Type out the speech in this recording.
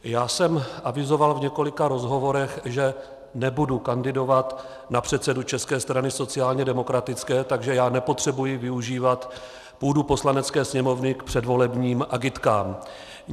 Já jsem avizoval v několika rozhovorech, že nebudu kandidovat na předsedu České strany sociálně demokratické, takže já nepotřebuji využívat půdu Poslanecké sněmovny k předvolebním agitkám.